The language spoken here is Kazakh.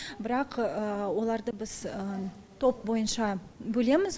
бірақ оларды біз топ бойынша бөлеміз